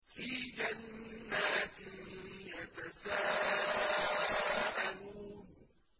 فِي جَنَّاتٍ يَتَسَاءَلُونَ